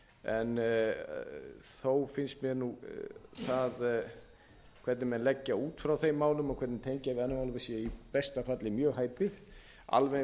en þó finnst mér það hvernig menn leggja út frá þeim málum og hvernig þeir tengja við hana sé í besta falli mjög hæpið alveg eins og